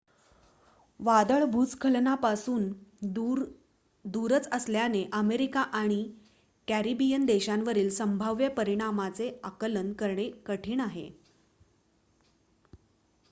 वादळ भूस्खलनापासून दूरच असल्याने अमेरिका किंवा कॅरिबियन देशांवरील संभाव्य परिणामाचे आकलन करणे कठीण आहे